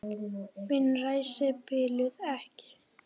Mín ræsi biluðu ekki.